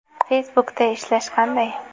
Facebook’da ishlash qanday?